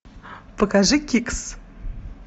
покажи кикс